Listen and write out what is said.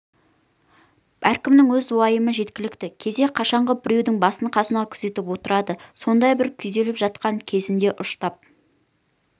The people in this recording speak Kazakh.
әркімнің өз уайымы жеткілікті кезде қашанғы біреудің басы-қасында күзетіп отырады сондай бір күйзеліп жатқан кезінде ұштап